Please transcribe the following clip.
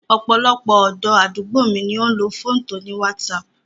Ọ̀pọ̀lọpọ̀ ọ̀dọ́ àdúgbò mi ló ń lo fóònù to ní wásaaàpù